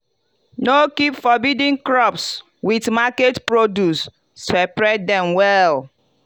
no keep forbidden crops with market produce separate dem well.